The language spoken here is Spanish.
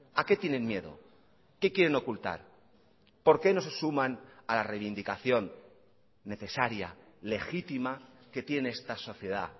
a qué tienen miedo qué quieren ocultar por qué no se suman a la reivindicación necesaria legítima que tiene esta sociedad